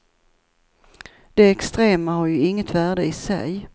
Det extrema har ju inget värde i sig.